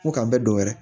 Ko k'an bɛ dɔ wɛrɛ